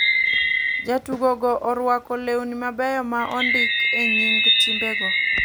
Jotugo go oruako lewni mabeyo ma ondiki e nying' timbe go.